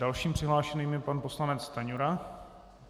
Dalším přihlášeným je pan poslanec Stanjura.